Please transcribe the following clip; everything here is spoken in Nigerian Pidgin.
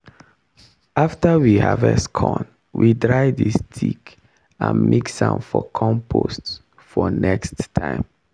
after we harvest corn we dry the stick and mix am for compost for next time.